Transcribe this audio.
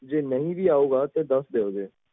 ਜੇ ਨਹੀਂ ਵੀ ਆਊਗਾ ਤਾਂ ਦੱਸ ਜ਼ਰੂਰ ਦਿਓ